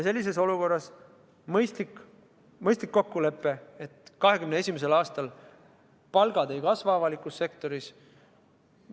Sellises olukorras on mõistlik teha kokkulepe, et 2021. aastal palgad avalikus sektoris ei kasva.